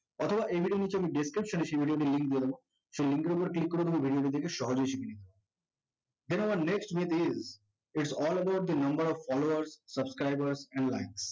অথবা এই video টির নিচে আমি description এ সেই video টির link দিয়ে দেব, সেই link এর উপর click করে তুমি video টি দেখে সহজেই শিখে নিতে পারবে, হে আমার its all about the number of followers subscribers and